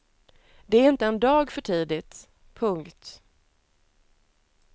Det är inte en dag för tidigt. punkt